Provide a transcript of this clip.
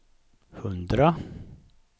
hundra